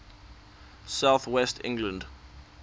south west england